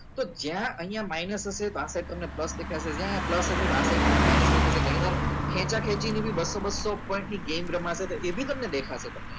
તો જ્યાં અહિયાં minus હશે પાછળ તમને plus દેખાશે જ્યાં અહિયાં plus હશે તો આ side તમને minus દેખાશે ગણી વાર ખેંચા ખેંચી ની બી બસ્સો બસ્સો point ની game રમશે તો એ બી તમને દેખાશે તમને અહિયાં